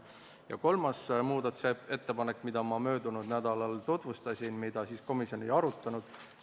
Ja kolmas muudatusettepanek, mida ma möödunud nädalal tutvustasin, mida aga komisjon siis ei arutanud.